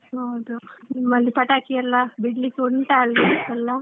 ಹೌದು. ನಿಮ್ಮಲ್ಲಿ ಪಟಾಕಿಯೆಲ್ಲ ಬಿಡ್ಲಿಕ್ಕೆ ಉಂಟಾ ಅಲ್ಲಿ ಎಲ್ಲ.